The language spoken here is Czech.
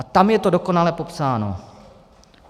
A tam je to dokonale popsáno.